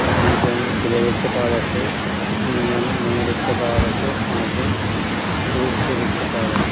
দুজন ছেলে দেখতে পাওয়া যাচ্ছে তিনজন মেয়ে দেখতে পাওয়া যাচ্ছে পাঁচজন পুরুষকে দেখতে পাওয়া যাচ্ছ--